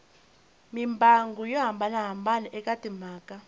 mimbangu yo hambanahambana eka timhaka